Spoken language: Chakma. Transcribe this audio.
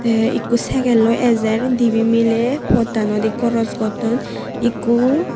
te ekko segelloi ejer dibey mile pottanodi koros gotton ekku.